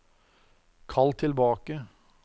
kall tilbake